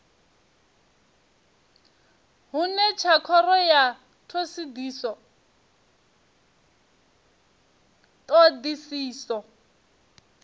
hone tsha khoro ya thodisiso